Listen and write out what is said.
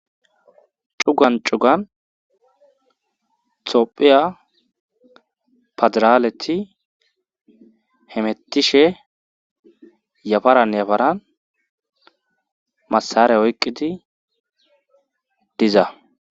Cugan cugan tophiya padiraaleti hemettishe yafaran yafaran masare oyqqidi diza.